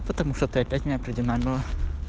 потому что ты опять неопределённая